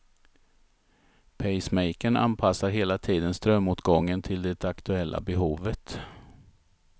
Pacemakern anpassar hela tiden strömåtgången till det aktuella behovet.